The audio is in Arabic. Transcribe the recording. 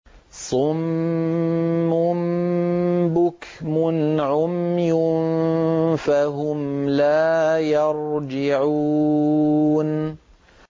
صُمٌّ بُكْمٌ عُمْيٌ فَهُمْ لَا يَرْجِعُونَ